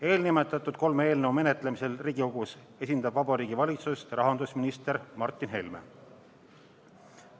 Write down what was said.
Eelnimetatud kolme eelnõu menetlemisel Riigikogus esindab Vabariigi Valitsust rahandusminister Martin Helme.